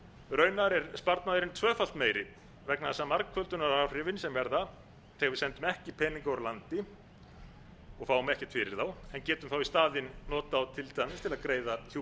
raunar er sparnaðurinn tvöfalt meiri vegna þess að margföldunaráhrifin sem verða þegar við sendum ekki peninga úr landi og fáum ekkert fyrir þá en getum í staðinn notað þá til dæmis til að greiða